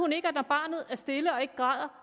ikke at når barnet er stille og ikke græder